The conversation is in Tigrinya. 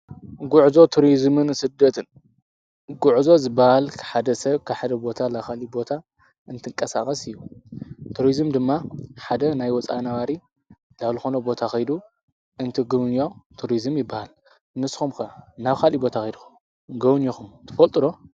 ጕዕዞ ቱርዝምን ስደትን ጕዕዞ ዝበሃል ክሓደ ሰብ ክሓደ ቦታ ላኻልቦታ እንትንቀሳቐስ እዩ ቱርዝም ድማ ሓደ ናይ ወፃንዋሪ ላብልኾኖ ቦታኺዱ እንትግንዮ ቱርዝም ይበሃል ንስኹምከ ናብኻሊ ቦታ ኺዱኹም ገውን ዮኹም ትፈልጡሮ?